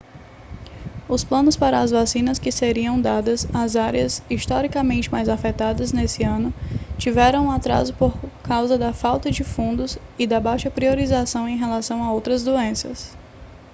os planos para as vacinas que seriam dadas às áreas historicamente mais afetadas nesse ano tiveram um atraso por causa da falta de fundos e da baixa priorização em relação a outras doenças